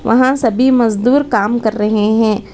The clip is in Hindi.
वहां सभी मजदूर काम कर रहे हैं।